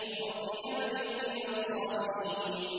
رَبِّ هَبْ لِي مِنَ الصَّالِحِينَ